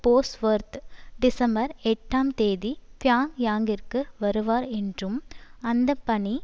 Bosworth December எட்டாம் தேதி பியாங்யாங்கிற்கு வருவார் என்றும் அந்தப்பணி